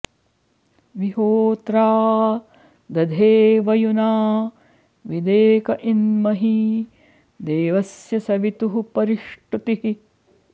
वि होत्रा॑ दधे वयुना॒ विदेक॒ इन्म॒ही दे॒वस्य॑ सवि॒तुः परि॑ष्टुतिः